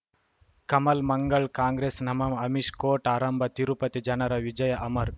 ಕಮಲ್ ಮಂಗಳ್ ಕಾಂಗ್ರೆಸ್ ನಮಃ ಅಮಿಷ್ ಕೋರ್ಟ್ ಆರಂಭ ತಿರುಪತಿ ಜನರ ವಿಜಯ ಅಮರ್